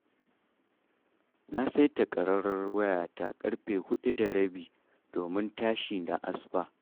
Na saita ƙararrwar wayata ƙarfe 4:30 domin tashi na da asuba